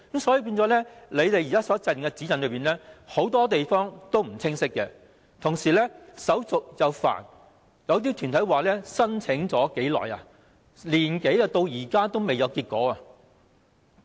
所以，政府現時的指引很多地方並不清晰，同時手續又繁複，有些團體表示已申請了1年多，至今仍未有結果。